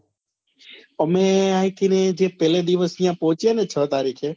અમે અહી થી ને અહિયાં થી પહેલે દિવસે પહોચ્યા ને છ તારીખે